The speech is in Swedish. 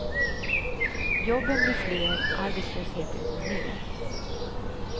Jobben blir fler, arbetslösheten går ner.